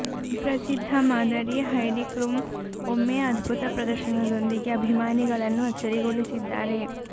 ಪ್ರಸಿದ್ಧ ಮಾದರಿ Heidi Klum ಒಮ್ಮೆ ಅದ್ಭುತ ಪ್ರದರ್ಶನದೊಂದಿಗೆ ಅಭಿಮಾನಿಗಳನ್ನು ಅಚ್ಚರಿಗೊಳಿಸಿದ್ದಾರೆ